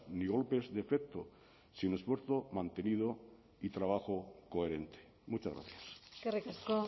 ni golpes de efecto sin esfuerzo mantenido y trabajo coherente muchas gracias eskerrik asko